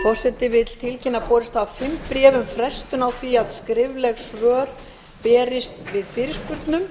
forseti vill tilkynna að borist hafa fimm bréf um frestun á því að skrifleg svör berist við fyrirspurnum